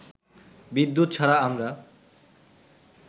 বিদ্যুৎ ছাড়া আমরা